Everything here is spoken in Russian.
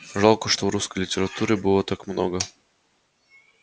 жалко что в русской литературе было так много